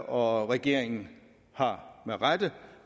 og regeringen har med rette